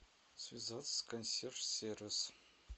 связаться с консьерж сервис